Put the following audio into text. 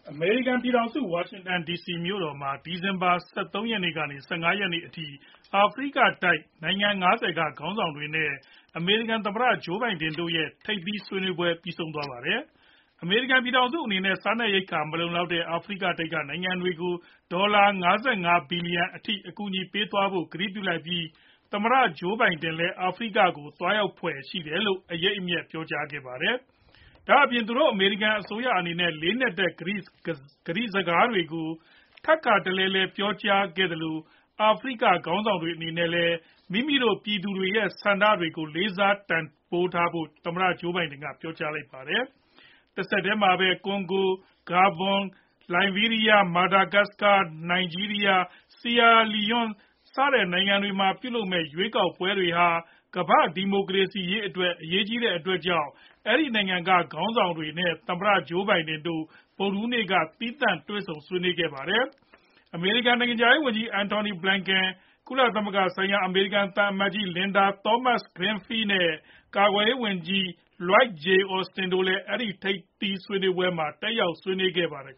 အမေရိကန် ပြည်ထောင်စု ၊ ဝါရှင်တန်ဒီစီမြို့တော် မှာ ဒီဇင်ဘာ ၁၃ ကနေ ၁၅ ရက်နေ့အထိ အာဖရိကတိုက်ဒေသ နိုင်ငံ ၅ဝ က ခေါင်းဆောင်တွေနဲ့ အမေရိကန် ပြည်ထောင်စု တို့ရဲ့ ထိပ်သီးဆွေးနွေးပွဲ ပြီးဆုံးသွားပါတယ်။ အမေရိကန် ပြည်ထောင်စု အနေနဲ့ စားနပ်ရိက္ခာ မလုံလောက်တဲ့ အာဖရိကတိုက် က နိုင်ငံတွေကို ဒေါ်လာ ၅၅ ဘီလီယံ အထိ အကူအညီပေးသွားဖို့ ကတိပြုလိုက်ပြီး သမ္မတ Joe Biden လဲ အာဖရိကကို သွားရောက်ဖွယ်ရှိတယ်လို့ အရိပ်အမြွက် ပြောကြားခဲ့ပါတယ်။ ဒါအပြင် သူတို့ အမေရိကန် အစိုးရအနေနဲ့ လေးနက်တဲ့ ကတိစကားတွေကို ထပ်ခါတလဲ ပြောကြားခဲ့သလို အာဖရိက ခေါင်းဆောင်တွေအနေနဲ့လည်း မိမိတို့ပြည်သူတွေရဲ့ ဆန္ဒတွေကို လေးစားတန်ဖိုးထားဖို့ ပြောကြာလိုက်ပါတယ်။ တဆက်တည်းမှာပဲ Congo, Gabon, Liberia, Madagascar, Nigeria, Sierra leone နိုင်ငံတွေမှာ ပြုလုပ်မဲ့ ရွေးကောက်ပွဲတွေဟာ ကမ္ဘာ့ ဒီမိုကရေစီအရေးအတွက် အရေးကြီးတဲ့အတွက်ကြောင့် အဲဒီနိုင်ငံတွေက ခေါင်းဆောင်တွေနဲ့ သမ္မတ Joe Biden တို့ ဗုဒ်ဓဟူးနေ့က သီးသန့် တွေ့ဆုံဆွေးနွေးခဲ့ပါတယ်။ အမေရိကန် နိုင်ငံခြားရေးဝန်ကြီး Antony Blinken၊ ကုလသမဂ္ဂ ဆိုင်ရာ အမေရိကန် သံအမတ်ကြီး Linda Thomas-Greenfield နဲ့ ကာကွယ်ရေးဝန်ကြီးLioyd J.Austin တို့လည်း အဲဒီထိပ်သီးဆွေးနွေးပွဲကို တက်ရောက် ဆွေးနွေးခဲ့ကြပါတယ်